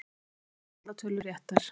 Einn með allar tölur réttar